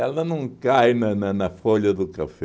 Ela não cai na na na folha do café.